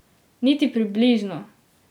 Niti približno!